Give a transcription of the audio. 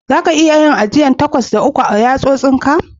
Za ki iya ajiyan takwas a kan ka da uku a yatsosin ka?